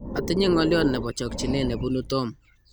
atinye ng'oliot nebo chokchine nebunu Tom